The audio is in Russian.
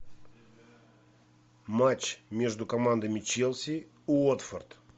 матч между командами челси уотфорд